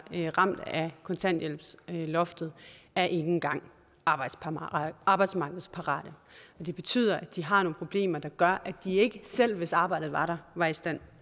ramt af kontanthjælpsloftet er ikke engang arbejdsmarkedsparate det betyder at de har nogle problemer der gør at de ikke selv hvis arbejdet var der var i stand